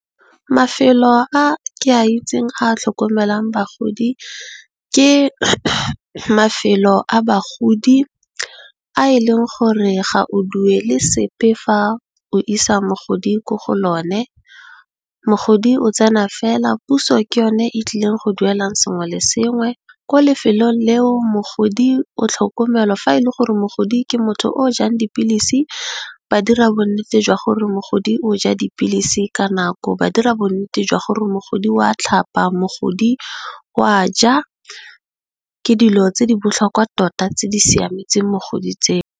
Mafelo a ke a itseng a tlhokomelang bagodi ke mafelo a bagodi a e leng gore ga o duele sepe fa o isa mogodi ko go lone. Mogodi o tsena fela puso ke yone e tlileng go duelang sengwe le sengwe ko lefelong leo, mogodi o tlhokomelwa fa e le gore mogodi ke motho o jang dipilisi, ba dira bonnete jwa gore mogodi o ja dipilisi ka nako, ba dira bonnete jwa gore mogodi wa tlhapa, mogodi wa ja, ke dilo tse di botlhokwa tota tse di siametseng mogodi tseo.